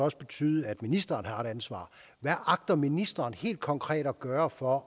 også betyde at ministeren har et ansvar hvad agter ministeren helt konkret at gøre for